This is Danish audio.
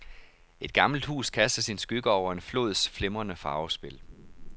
Et gammelt hus kaster sin skygge over en flods flimrende farvespil.